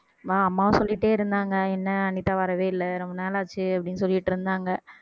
வா அம்மா சொல்லிட்டே இருந்தாங்க என்ன அனிதா வரவே இல்லை ரொம்ப நாளாச்சு அப்படின்னு சொல்லிட்டு இருந்தாங்க